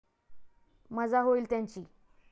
मजा होइल त्यांची.